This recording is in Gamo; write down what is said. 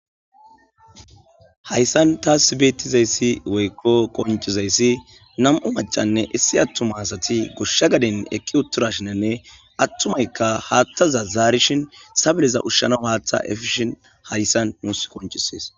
Hayssan tasi bettizayssi woykko qonccizayssi nam'u maccaynne issi attuma asati goshsha gadden eqqi uttidashinene atumaka hattaza zarishin sabileza ushanawu haththa effishin hayssa nusi qonccises.